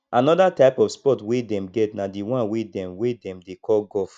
another type of sports wey dem get na the one wey dem wey dem dey call golf